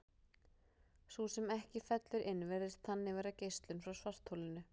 Sú sem ekki fellur inn virðist þannig vera geislun frá svartholinu.